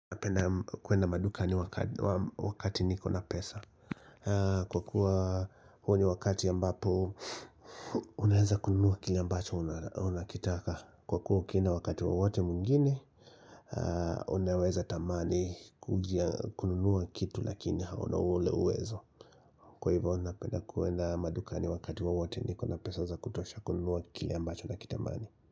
Napenda kuenda madukani wakati niko na pesa Kwa kuwa huo ni wakati ambapo Unaweza kuenda madukani wakati wowote mwingine Unaweza tamani kununuwa kitu lakini hauna ule uwezo Kwa hivyo unapenda kuenda madukani wakati wowote niko na pesa za kutosha kununuwa kile ambacho na kitamani.